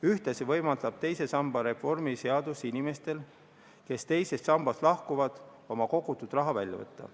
Ühtlasi võimaldab teise samba reformi seadus inimestel, kes teisest sambast lahkuvad, oma kogutud raha välja võtta.